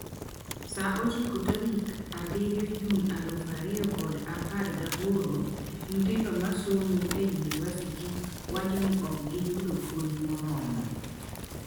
Saa ochiko tarik abirio June aluf ariyokod apar gi aboro: Nyithindo ma somo e yunivasiti wacho ni ok giyudo puonj moromo